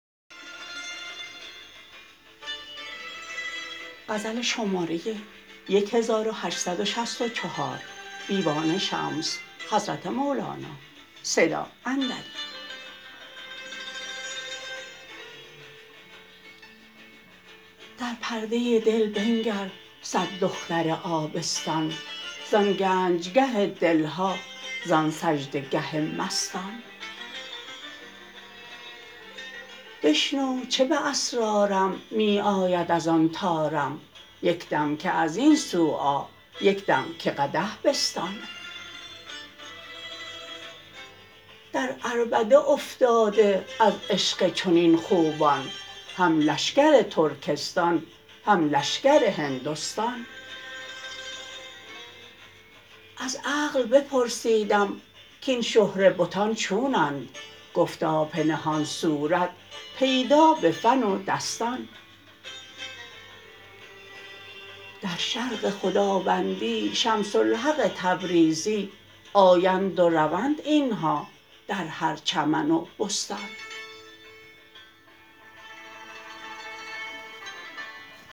در پرده دل بنگر صد دختر آبستان زان گنجگه دل ها زان سجده گه مستان بشنو چه به اسرارم می آید از آن طارم یک دم که از این سو آ یک دم که قدح بستان در عربده افتاده از عشق چنین خوبان هم لشکر ترکستان هم لشکر هندستان از عقل بپرسیدم کاین شهره بتان چونند گفتا پنهان صورت پیدا به فن و دستان در شرق خداوندی شمس الحق تبریزی آیند و روند این ها در هر چمن و بستان